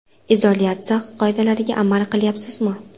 Izolyatsiya qoidalariga amal qilyapsizmi?